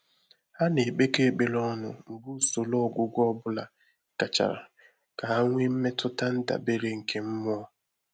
Há nà-ékpékọ́ ékpèré ọ́nụ̀ mgbè ùsòrò ọ́gwụ́gwọ́ ọ́ bụ́lá gàchàrà kà há nwèé mmétụ́tà ndàbéré nké mmụ́ọ́.